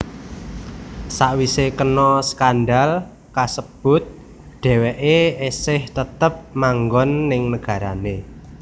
Sawisé kena skandal kasebut dheweké esih tetep manggon ning nagarané